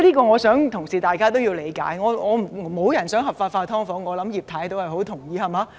我想同事也要理解這點，沒有人想"劏房"合法化，我相信葉太也很同意，對嗎？